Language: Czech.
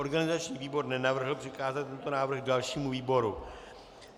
Organizační výbor nenavrhl přikázat tento návrh dalšímu výboru.